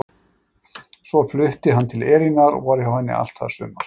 Svo flutti hann til Elínar og var hjá henni allt það sumar.